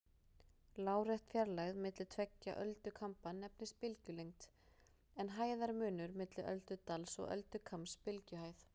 Lárétt fjarlægð milli tveggja öldukamba nefnist bylgjulengd, en hæðarmunur milli öldudals og öldukambs bylgjuhæð.